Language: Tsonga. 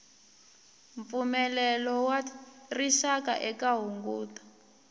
mpfumelelo wa rixaka eka hunguto